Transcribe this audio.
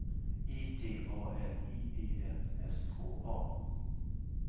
I T A L I E N S K A